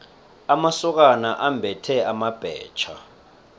amasokana ambethe amabhetjha